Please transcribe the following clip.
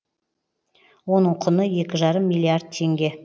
оның құны екі жарым миллиард теңге